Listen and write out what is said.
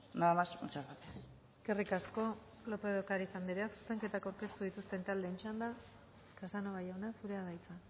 nada más y muchas gracias eskerrik asko lópez de ocariz anderea zuzenketak aurkeztu dituzten txanda casanova jauna zurea da hitza